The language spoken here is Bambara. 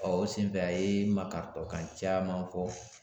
o senfɛ a ye makariɔ kan caman fɔ.